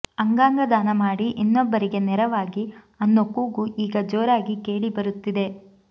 ಅಂಗಾಂಗ ದಾನ ಮಾಡಿ ಇನ್ನೊಬ್ಬರಿಗೆ ನೆರವಾಗಿ ಅನ್ನೋ ಕೂಗು ಈಗ ಜೋರಾಗಿ ಕೇಳಿ ಬರುತ್ತಿದೆ